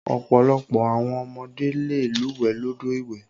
Ọ̀pọ̀lọpọ̀ àwọn ọmọdé le lúwẹ̀ẹ́ lódò ìwẹ̀.